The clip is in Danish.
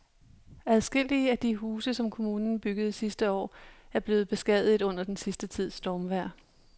Adskillige af de huse, som kommunen byggede sidste år, er blevet beskadiget under den sidste tids stormvejr.